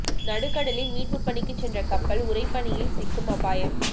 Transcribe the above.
நடுக்கடலில் மீட்புப் பணிக்குச் சென்ற கப்பல் உறைபனியில் சிக்கும் அபாயம்